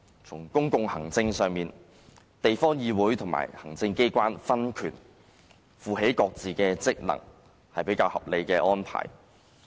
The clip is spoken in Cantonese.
在公共行政上，地方議會和行政機關分權，負起各自的職能，是比較合理的安排。